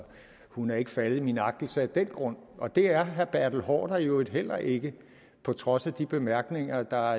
hun ikke er faldet i min agtelse af den grund og det er herre bertel haarder i øvrigt heller ikke på trods af de bemærkninger der